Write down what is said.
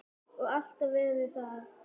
Og alltaf verið það.